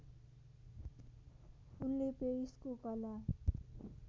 उनले पेरिसको कला